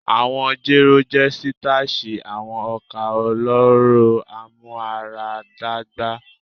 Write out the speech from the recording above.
Awọn jero jẹ sitashi, awọn oka ọlọrọ amuaradagba